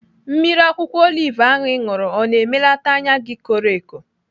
Mmiri akwụkwọ olive ahụ ị ṅụrụ ọ na-emelata anya gị koro eko?